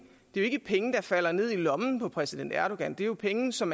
jo ikke er penge der falder ned i lommen på præsident erdogan det er jo penge som